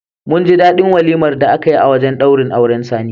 Mun ji daɗi walimar da aka yi a wajen ɗaurin auren Sani.